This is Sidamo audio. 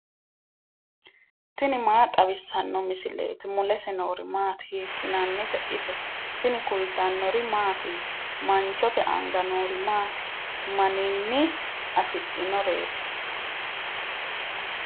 tini maa xawissanno misileeti ? mulese noori maati ? hiissinannite ise ? tini kultannori mattiya? Manchote anga noori maatti? Maninni afidhinnoreetti?